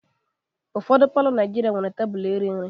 Ụfọdụ palọ Naijiria nwere tebụl iri nri.